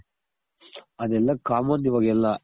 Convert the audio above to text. ಅದೆಲ್ಲ common ಇವಾಗೆಲ್ಲ